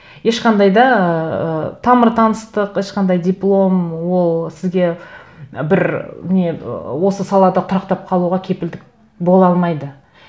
ешқандай да ыыы тамыр таныстық ешқандай диплом ол сізге бір не ыыы осы салада тұрақтап қалуға кепілдік бола алмайды